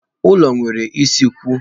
Ụlọ nwere usekwu.